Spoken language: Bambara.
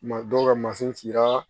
Ma dɔw ka masin cira